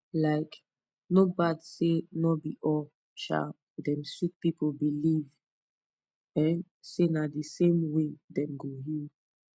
likee no bad say no be all um dem sick pipu believe um say na the same way dem go heal